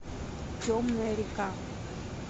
темная река